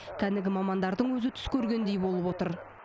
кәнігі мамандардың өзі түс көргендей болып отыр